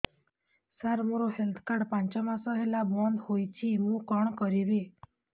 ସାର ମୋର health card ପାଞ୍ଚ ମାସ ହେଲା ବଂଦ ହୋଇଛି ମୁଁ କଣ କରିବି